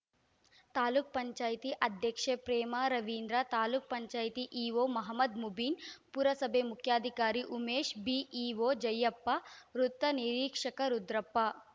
ತಾಲೂಕ್ ಪಂಚಾಯತಿ ಅಧ್ಯಕ್ಷೆ ಪ್ರೇಮಾ ರವೀದ್ರ ತಾಲೂಕ್ ಪಂಚಾಯತಿ ಇಒ ಮಹಮದ್‌ ಮುಬೀನ್‌ ಪುರಸಭೆ ಮುಖ್ಯಾಧಿಕಾರಿ ಉಮೇಶ್‌ ಬಿಇಒ ಜಯಪ್ಪ ವೃತ್ತ ನಿರೀಕ್ಷಕ ರುದ್ರಪ್ಪ